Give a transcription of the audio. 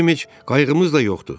Bizim heç qayıqımız da yoxdur.